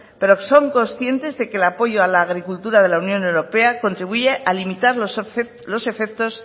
pero son conscientes de que el apoyo a la agricultura de la unión europea contribuye a limitar los efectos